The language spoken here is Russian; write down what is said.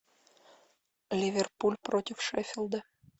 ливерпуль против шеффилда